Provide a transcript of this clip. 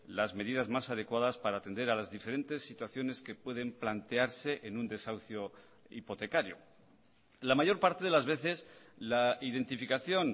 las medidas más adecuadas para atender a las diferentes situaciones que pueden plantearse en un desahucio hipotecario la mayor parte de las veces la identificación